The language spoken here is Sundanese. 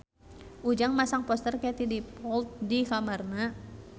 Ujang masang poster Katie Dippold di kamarna